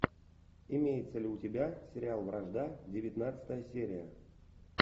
имеется ли у тебя сериал вражда девятнадцатая серия